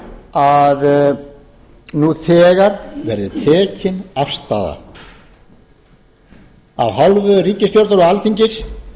að nú þegar verði tekin afstaða af hálfu ríkisstjórnar og alþingis